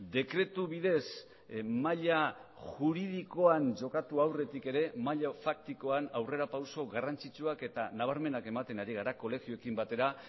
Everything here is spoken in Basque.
dekretu bidez maila juridikoan jokatu aurretik ere maila faktikoan aurrerapauso garrantzitsuak eta nabarmenak ematen ari gara kolegioekin batera